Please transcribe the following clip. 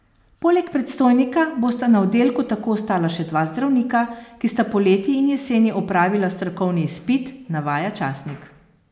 Poleg predstojnika bosta na oddelku tako ostala še dva zdravnika, ki sta poleti in jeseni opravila strokovni izpit, navaja časnik.